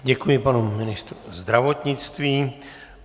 Děkuji panu ministru zdravotnictví.